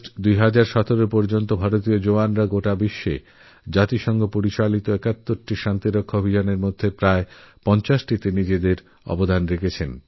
২০১৭ সালেরঅগাস্ট পর্যন্ত বিশ্বের একাত্তরটি শান্তিরক্ষার প্রয়াসের মধ্যে প্রায় পঞ্চাশটিতেতারা নিজেদের অবদান রেখেছে